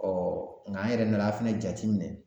nka an yɛrɛ nana fɛnɛ jatiminɛ